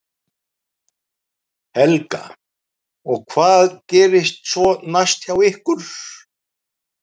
Helga: Og hvað gerist svo næst hjá ykkur?